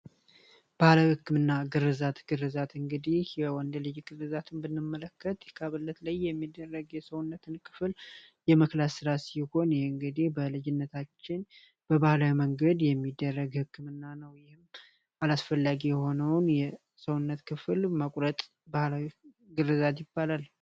ባህለ ሕክምና ግርዛት ግርዛት እንግዲህ የወንድ ልጅ ግርዛትን ብንመለከት የካበለት ላይ የሚደረግ የሰውነትን ክፍል የመክላስ ሥራት ሲሆን ይህእንግዲህ በልጅነታችን በባህለ መንገድ የሚደረግ ሕክምና ነው ይህም አላስፈላጊ የሆነውን የሰውነት ክፍል መቁረጥ ባህላዊ ግርዛት ይባላል።